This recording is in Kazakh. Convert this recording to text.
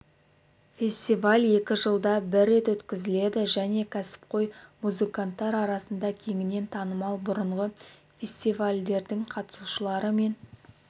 фестиваль екі жылда бір рет өткізіледі және кәсіпқой музыканттар арасында кеңінен танымал бұрынғы фестивальдердің қатысушылары мен